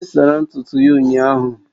Onyinye sara ntutu ya ụnyahụ